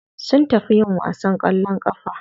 Sun tafi yin wasan kwallon kafa.